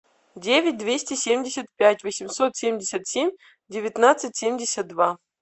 девять двести семьдесят пять восемьсот семьдесят семь девятнадцать семьдесят два